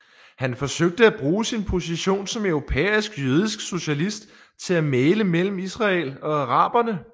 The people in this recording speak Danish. Han forsøgte at bruge sin position som europæisk jødisk socialist til at mægle mellem Israel og araberne